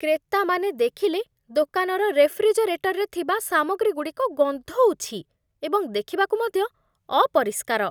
କ୍ରେତାମାନେ ଦେଖିଲେ ଦୋକାନର ରେଫ୍ରିଜରେଟରରେ ଥିବା ସାମଗ୍ରୀଗୁଡ଼ିକ ଗନ୍ଧଉଛି ଏବଂ ଦେଖିବାକୁ ମଧ୍ୟ ଅପରିଷ୍କାର।